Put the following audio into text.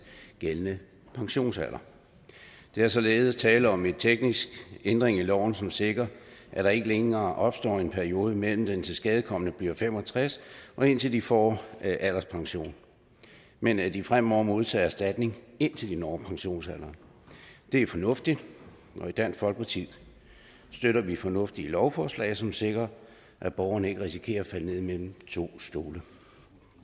gældende pensionsalder der er således tale om en teknisk ændring af loven som sikrer at der ikke længere opstår en periode mellem at den tilskadekomne bliver fem og tres år og indtil de får alderspension men at de fremover modtager erstatning indtil de når pensionsalderen det er fornuftigt og i dansk folkeparti støtter vi fornuftige lovforslag som sikrer at borgerne ikke risikerer sig mellem to stole